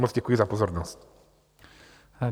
Moc děkuji za pozornost.